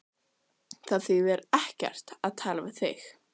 Það þýðir ekkert að tala við þig.